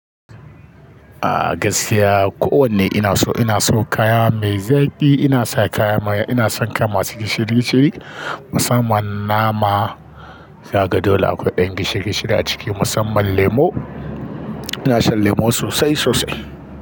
Ah gaskiya kowanne ina so, ina so kaya mai zaƙi, ina sa kaya, ina son kaya masu gishiri gishiri musamman nama. Naga dole akwai ɗan gishiri gishiri a ciki musamman lemo. Ina shan lemo sosai sosai.